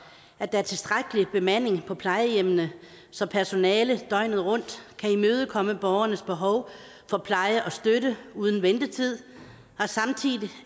at der er tilstrækkelig bemanding på plejehjemmene så personalet døgnet rundt kan imødekomme borgernes behov for pleje og støtte uden ventetid og